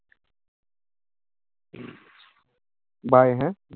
bye হ্যাঁ?